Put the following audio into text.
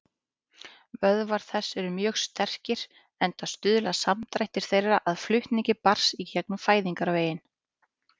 Vöðvar þess eru mjög sterkir, enda stuðla samdrættir þeirra að flutningi barns í gegnum fæðingarveginn.